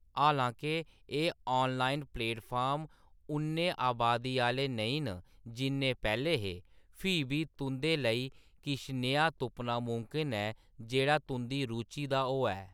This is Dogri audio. हालांके एह्‌‌ ऑनलाइन प्लेटफार्म उन्ने अबादी आह्‌‌‌ले नेईं न जिन्ने पैह्‌‌‌ले हे, फ्ही बी तुंʼदे लेई किश नेहा तुप्पना मुमकन ऐ जेह्‌‌ड़ा तुंʼदी रुचि दा होऐ।